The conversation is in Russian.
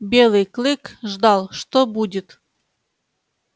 белый клык ждал что будет